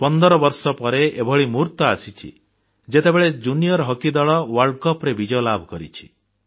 ପନ୍ଦର ବର୍ଷ ପରେ ଏଭଳି ମୁହୂର୍ତ୍ତ ଆସିଛି ଯେତେବେଳେ ଜୁନିୟର ହକି ଦଳ ବିଶ୍ବ କପରେ ବିଜୟ ଲାଭ କରିଛି